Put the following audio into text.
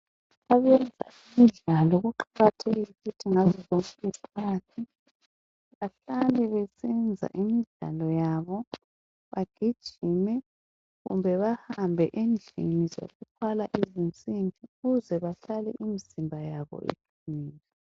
Abemidlalo kuqakathekile bahlale besenza imidlalo yabo bagijime kumbe bahambe endlini zokuthwala izinsimbi ukuze bahlale imzimba yabo iqinile.